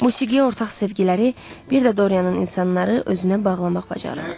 Musiqiyə ortaq sevgiləri bir də Dorianın insanları özünə bağlamaq bacarığı.